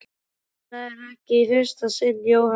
Já, þetta er ekki í fyrsta sinn Jóhann.